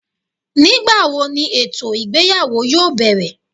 ngbawo ní etò ìgbéyàwó yóò berè